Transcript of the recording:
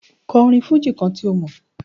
Kò orin fújì kan tí ó mọ̀.